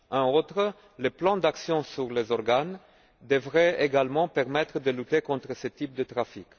En outre, le plan d'action sur les organes devrait également permettre de lutter contre ce type de trafic.